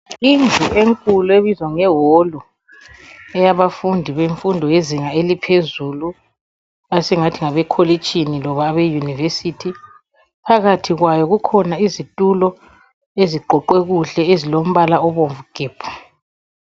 Indlu enkulu ebizwa ngeholu eyaba fundi bemfundo yezinga eliphezulu, esingathi ngabekolitshini loba abeyunivesithi, phakathi kwayo kukhona izitulo eziqoqwe kuhle ezilombala obomvu gebhu.